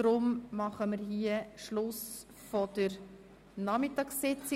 Darum beenden wir hier die Nachmittagssitzung.